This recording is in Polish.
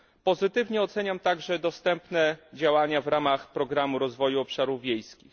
Pozytywnie oceniam także dostępne działania w ramach programu rozwoju obszarów wiejskich.